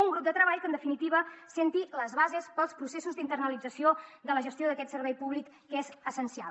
un grup de treball que en definitiva assenti les bases per als processos d’internalització de la gestió d’aquest servei públic que és essencial